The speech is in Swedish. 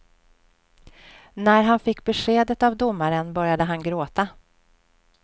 När han fick beskedet av domaren började han gråta.